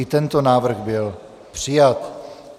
I tento návrh byl přijat.